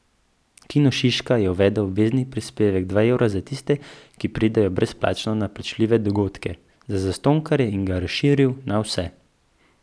Kino Šiška je uvedel obvezni prispevek dva evra za tiste, ki pridejo brezplačno na plačljive dogodke, za zastonjkarje, in ga razširil na vse.